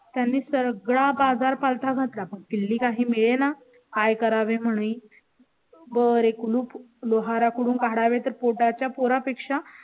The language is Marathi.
त्यांनी सगळा बाजार पालथा घात ला. बघ कील्ली काही मिळेना काय करावे म्हणून. बरे कुलूप लोहाराकडून काढावे तर पोटा च्या पोरा पेक्षा